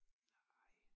Nej